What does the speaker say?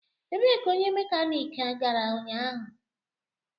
Ebee ka onye mekaniki gara ụnyaahụ?